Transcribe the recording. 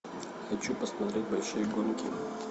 хочу посмотреть большие гонки